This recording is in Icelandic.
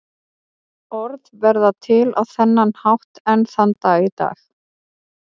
Orð verða til á þennan hátt enn þann dag í dag.